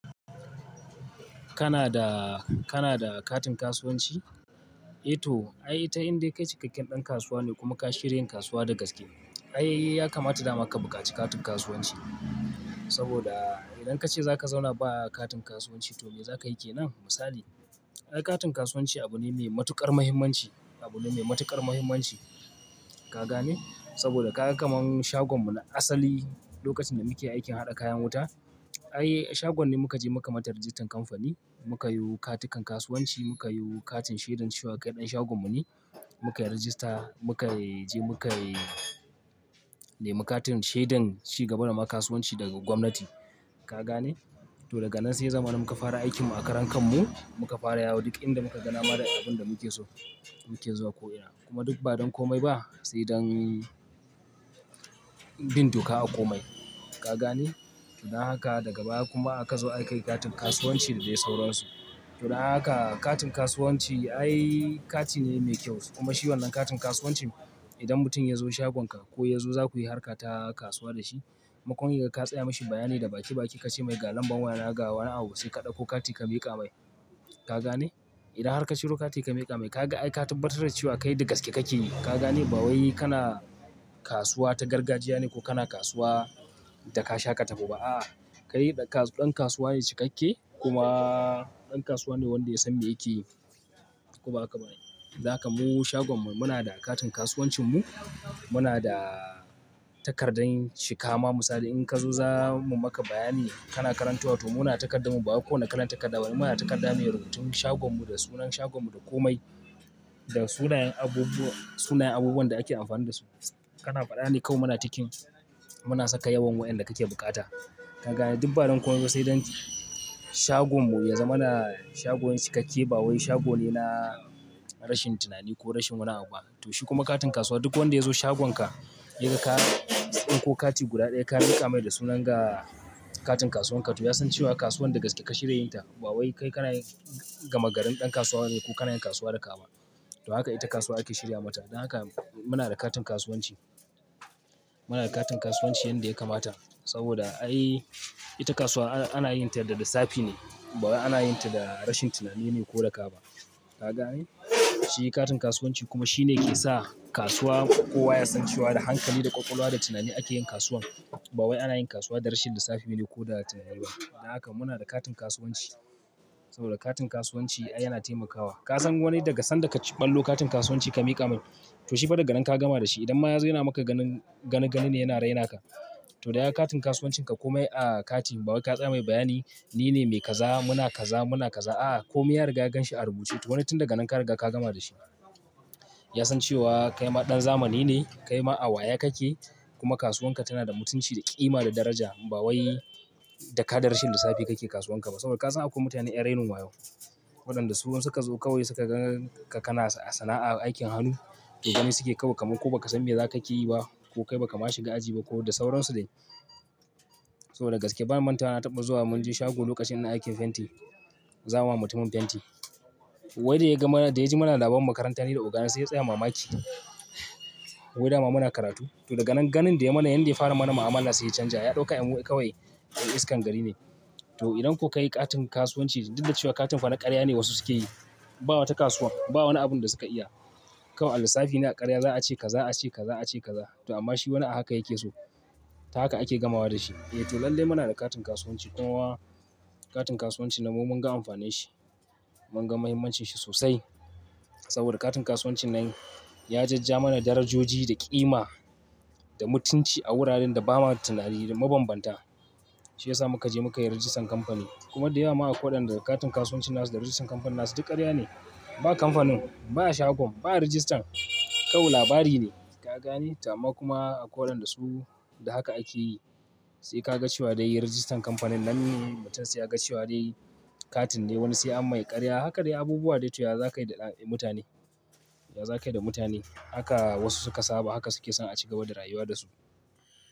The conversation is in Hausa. Kana da, kana da katin kasuwanci? E to, ai ita indai kai cikakken ɗan kasuwa ne kuma ka shirya yin kasuwa da gaske. Ai, ya kamata dama ka bukaci katin kasuwanci. Saboda idan kace zaka zauna ba katin kasuwanci to mai zaka yi ke nan? Misali, ai katin kasuwanci abu ne mai matuƙar mahimmanci--abu ne mai matuƙar mahimmanci. Ka gane? Saboda ka ga kamar shagon mu na asali lokacin da muke aikin haɗa kayan wuta, ai shagon ne muka je muka mata rijistar kamfani, muka yiwo katukan kasuwanci, muka yiwo katin shaidan cewa kai ɗan shagon mu ne, muka yi rijista, muka yi je muka yi, ne mi katin shaidan cigabar wa ma kasuwanci daga gwamnati. Ka gane? To daga nan sai ya zamana muka fara aikin mu a karan kan mu, muka fara yawo duk inda muka ga dama da abun da muke so, muke zuwa ko ina. Kuma duk ba don komai ba sai don bin doka a komai. Ka gane? To don haka daga baya kuma aka zo aka yi katin kasuwanci da dai sauransu. To don haka katin kasuwanci ai kati ne mai kyau. Kuma shi wannan katin kasuwanci idan mutum ya zo shagon ka ko ya zo zakuyi harka ta kasuwa da shi, maimakon yaga ka tsaya mishi bayani da baki-baki ka ce mai ga lamban waya na ga wani abu sai ka ɗauko kati ka miƙa mai. Ka gane? Idan har ka ciro kati ka mika mai, kaga ai ka tabbatar da ce wa kai da gaske kake yi, ka gane? Ba wai kana kasuwa ta gargajiya ne ko kana kasuwa da ka sha ƙataho ba a. A'a, kai ɗa ka--dan kasuwa ne cikakke kuma ɗan kasuwa ne wanda ya san mai yake yi. Ko ba haka ba ai, don haka mu shagon mu muna da katin kasuwancin mu, muna da takardar cika. Ma misali in ka zo zamu maka bayani, kana karantowa to muna da takardar mu, ba wai ko wani kalan takarda bane. Muna da takarda mai rubutun shagon mu da sunan shagon mu da komai da sunayen abubuwa--sunayen abubuwan da ake amfani da su. Kana faɗa ne kawai muna tikin, muna saka yawan wayanda kake bukata. Ka gane? Duk ba don komai ba sai don shagon mu ya zama na shagon cikakke ba wai shago ne na rashin tunani ko rashin wani abu ba. To shi kuma katin kasuwa duk wanda ya zo shagonka yaga ka tsinko kati guda ɗaya ka miƙa mai da sunan ga katin kasuwan ka to ya san cewa kasuwan da gaske ka shirye yin ta. Ba wai kai kana yin gama garin ɗan kasuwa bane ko kana yin kasuwa da kama. To haka ita kasuwa ake shirya mata. Don haka muna da katin kasuwanci. Muna da katin kasuwanci yanda ya kamata saboda ai ita kasuwa ana--ana yin ta da lissafi ne ba wai ana yin ta da rashin tunani ne ko da ka ba. Ka gane? Shi katin kasuwanci kuma shi ne yake sa kasuwa kowa ya san cewa da hankali da ƙwaƙwalwa da tunani ake yin kasuwan. Ba wai ana yin kasuwa da rashin lissafi ne ko da tunani ba. Don haka muna da katin kasuwanci saboda katin kasuwanci ai yana taimakawa. Ka san wani daga san da ka ɓallo katin kasuwanci ka miƙa mai to shi fa daga nan ka gama da shi. Idan ma yazo yana maka ganin gani-gani ne yana raina ka, to da yaga katin kasuwancin ka komai a kati bawai ka tsaya mai bayani nine mai ka za, muna ka za, muna ka za. A'a, komi ya riga ya ganshi a rubuce. To wani tun daga nan ka riga ka gama da shi. Ya san cewa kai ma ɗan zamani ne, kai ma a waye kake kuma kasuwan ka tana da mutunci da ƙima da daraja ba wai da ka da rashin lissafi kake kasuwan ka ba. Saboda ka san akwai mutane 'yan rainin wayo. Waɗanda su in suka zo kawai suka gan ka kana a sana'a aikin hannu, to gani suke yi kawai kaman ko ba ka san mai za ka ke yi ba ko kai ba ka ma shiga aji ba ko da sauransu dai. Saboda da gaske, bana bantawa na taɓa zuwa mun je shago lokacin ina aikin fenti, zama mutumin fenti. Wai da ya ga mana, da ya ji muna labarin makaranta ni da oga na sai ya tsaya mamaki wai da ma muna karatu. To daga nan ganin da ya mana, yanda ya fara mana mu'amala sai ya canja. Ya ɗauka yan mu kawai 'yan iskan gari ne. To idan ko ka yi katin kasuwanci duk da cewa katin fa na ƙarya ne wasu suke yi, ba wata kasuwa, ba wani abun da suka iya. Kawai a lissafi ne a ƙarya za a ce ka za--a ce ka za--a ce ka za. To amma shi wani a haka yake so. Ta haka ake gamawa da shi. To lallai muna da katin kasuwaci, kuma katin kasuwancin nan mu mun ga amfanin shi, mun ga mahimmancin shi sosai. Saboda katin kasuwancin nan ya jajjawo mana darajoji da ƙima da mutunci a wuraren da ba ma tunani da mabanbanta. Shi ya sa muka je muka yi rijistan kamfani kuma da yawa ma a koi wadanda katin kasuwanci na su da rijistan kamfanin na su duk ƙarya ne. Ba kamfanin, ba shagon, ba rijistan, kawai labari ne. Ka gane? To amma kuma akoi wadanda su, da haka ake yi sai ka ga cewa dai yin rijistan kamfanin nan mutum sai ya ga cewa dai katin ne wani sai an mai ƙarya. Haka dai abubuwa dai to ya za ka yi da mutane--ya za ka yi da mutane. Haka wasu suka saba, haka suke son a ci gaba da rayuwa da su.